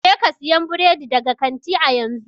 Jeka siyan burodi daga kanti a yanzu!